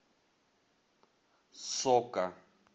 сока